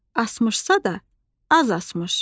Asmışsa da az asmış.